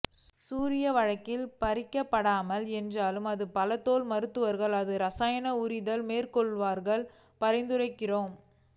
சூரிய வழக்கில் பறிக்கப்படாமல் என்றாலும் பல தோல் மருத்துவர்கள் அது இரசாயன உரித்தல் மேற்கொள்வார்கள் பரிந்துரைக்கிறோம்